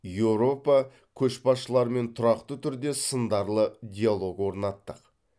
еуропа көшбасшыларымен тұрақты түрде сындарлы диалог орнаттық